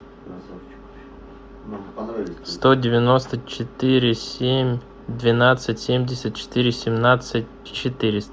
сто девяносто четыре семь двенадцать семьдесят четыре семнадцать четыреста